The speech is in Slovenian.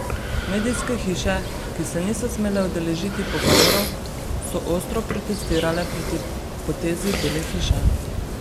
Medijske hiše, ki se niso smele udeležiti pogovorov, so ostro protestirale proti potezi Bele hiše.